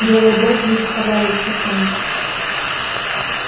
белые боги не составляли исключения